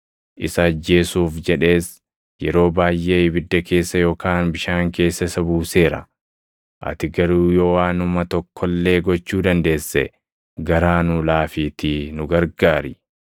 Isa ajjeesuuf jedhees yeroo baayʼee ibidda keessa yookaan bishaan keessa isa buuseera. Ati garuu yoo waanuma tokko illee gochuu dandeesse garaa nuu laafiitii nu gargaari.”